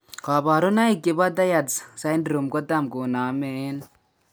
Kabarunaik chebo Tietze syndrome kotam koname en